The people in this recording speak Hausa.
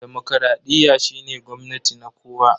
Demokradiyya shine gwamnati na kowa.